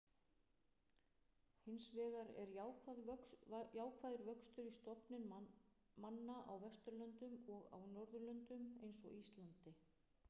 Hinsvegar er jákvæður vöxtur í stofnum manna á Vesturlöndum og á Norðurlöndum eins og Íslandi.